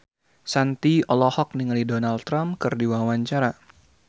Shanti olohok ningali Donald Trump keur diwawancara